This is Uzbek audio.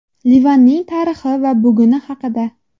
Livanning tarixi va buguni haqida.